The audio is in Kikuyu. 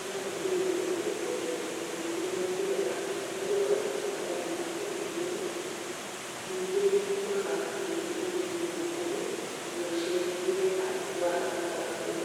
ĩgateithĩrĩria kuongerera tũgũnyo tũrĩa twega tũrĩa tũthondekaga marima tĩrinĩ na ningĩ nĩĩtũmaga tĩri ũgĩe na ũrugarĩ na ũcenjie rangi waguo.